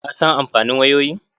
Ka san amfanin wayoyin?